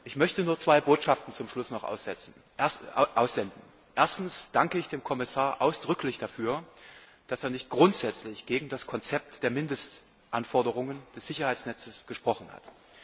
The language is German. Ich möchte auch nur zwei Botschaften zum Schluss übermitteln Erstens danke ich dem Kommissar ausdrücklich dafür, dass er sich nicht grundsätzlich gegen das Konzept der Mindestanforderungen des Sicherheitsnetzes ausgesprochen hat.